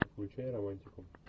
включай романтику